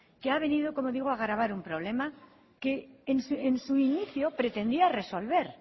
que ha venido como digo a agravar un problema que en su inicio pretendía resolver